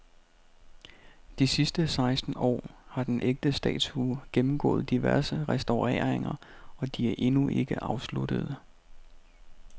De sidste seksten år har den ægte statue gennemgået diverse restaureringer, og de er endnu ikke afsluttede.